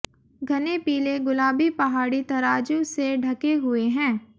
घने पीले गुलाबी पहाड़ी तराजू से ढके हुए हैं